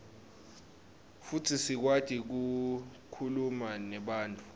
futsi sikwati kukhuluma nebantfu